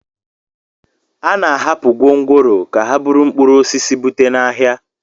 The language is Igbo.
A na-ahapụ gwongworo ka ha buru mkpụrụ osisi bute n'ahịa